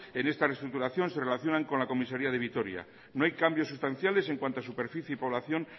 en esta restructuración se relacionan con la comisaria de vitoria no hay cambios sustanciales en cuanto a superficie y población